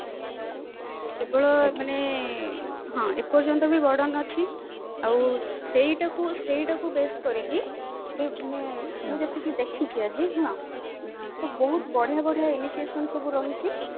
କେବଳ ମାନେ ହଁ ଏ ପର୍ଯ୍ୟନ୍ତ ବି burden ଅଛି ଆଉ ସେଇଟାକୁ ସେଇଟାକୁ ବି base କରିକି ମୁଁ ଯେତିକି ଦେଖିଛି ଆଜି ତ ବହୁତ ବଢିଆ ବଢିଆ initiation ସବୁ ରହିଛି